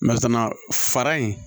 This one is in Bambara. fara in